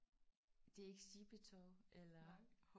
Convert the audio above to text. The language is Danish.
Det er ikke sjippetov eller?